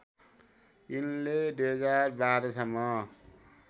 यिनले २०१२ सम्म